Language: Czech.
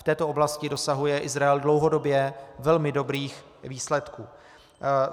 V této oblasti dosahuje Izrael dlouhodobě velmi dobrých výsledků.